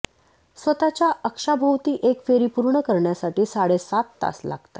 स्वतःच्या अक्षाभोवती एक फेरी पूर्ण करण्यासाठी साडेसात तास लागतात